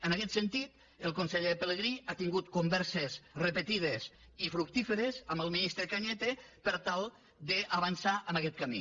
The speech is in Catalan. en aquest sentit el conseller pelegrí ha tingut converses repetides i fructíferes amb el ministre cañete per tal d’avançar en aquest camí